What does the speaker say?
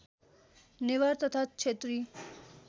नेवार तथा क्षेत्री